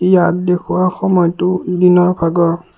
ইয়াত দেখুওৱা সময়তো দিনৰ ভাগৰ।